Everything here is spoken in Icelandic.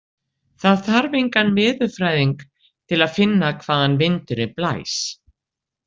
Það þarf engan veðurfræðing til að finna hvaðan vindurinn blæs.